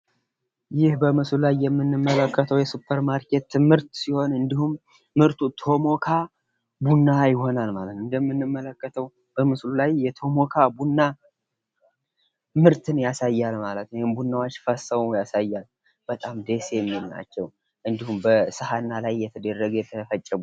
ይህ በምስሉ ላይ የምንመለከተው የሱፐር ማርኬት ምርት ሲሆን እንዲሁም ምርቱ "ቶሞካ ቡና" ይሆናል ማለት ነው። እንደምንመለከተው በምስሉ ላይ የቶሞካ ቡና ምርትን ያሳያል ማለት ነው። ቡናዎች ፈሰው ያሳያል። በጣም ደስ የሚሉ ናቸው። እንዲሁም በሳህን ላይ የተደረገ የተፈጨ ቡና አለ።